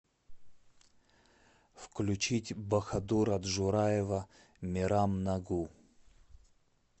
включить боходура джураева мерам нагу